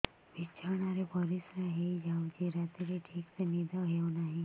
ବିଛଣା ରେ ପରିଶ୍ରା ହେଇ ଯାଉଛି ରାତିରେ ଠିକ ସେ ନିଦ ହେଉନାହିଁ